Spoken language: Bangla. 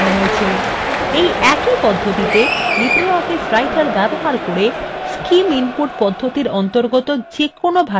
এই একই পদ্ধতিতে libreoffice writer ব্যবহার করে scim input পদ্ধতির অন্তর্গত যেকোনো ভাষায় লেখা যাবে